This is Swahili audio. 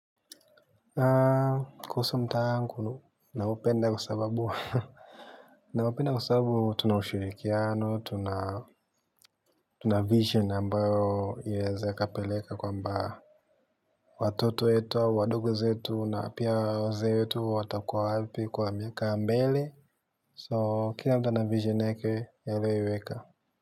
Kuhusu mtaa wangu naupenda kwa sababu naupenda kwa sababu tuna ushirikiano, tuna vision ambayo yaweze ikapeleka kwa mbaa. Watoto wetu au wadogo zetu na pia wazee wetu watakuwa wapi kwa miaka mbele So, kila mtu ana vision yake ameiweka.